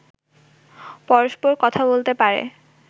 পরস্পর কথা বলতে পারে